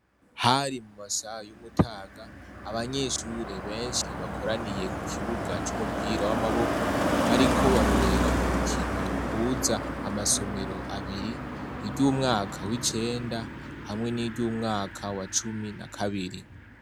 Hari mu masaha y'umutaga abanyeshure benshi bakoraniye ku kibuga c'umupira w'amaboko bariko barorera urukino ruhuza amasomero abiri, iry'umwaka w'icenda hamwe niry'umwaka wa cumi na kabiri.